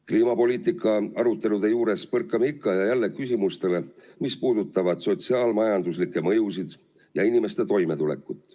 Kliimapoliitika arutelude juures põrkame ikka ja jälle küsimustele, mis puudutavad sotsiaal-majanduslikke mõjusid ja inimeste toimetulekut.